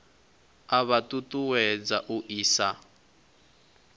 a vha ṱuṱuwedza u isa